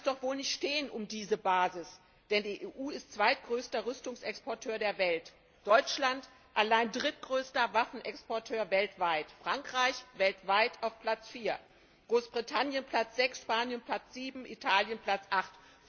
So schlimm kann es doch wohl nicht um diese Basis stehen, denn die EU ist zweitgrößter Rüstungsexporteur der Welt, Deutschland allein drittgrößter Waffenexporteur weltweit, Frankreich weltweit auf Platz vier, Großbritannien Platz sechs, Spanien Platz sieben, Italien Platz acht.